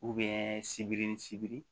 sibiri sibiri